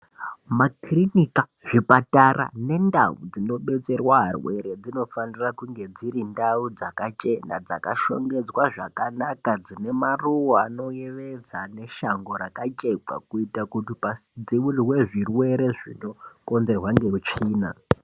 Makirinika, zvipatara nendau dzinodetserwa arwere dzinofanira kunge dzirindau dzakachena dzakashongedzwa zvakanaka dzine maruwa anoyevedza neshango rakacheklwa kuita kuti padziurwe zvirwere zvinokonzerwa ngeutsvina.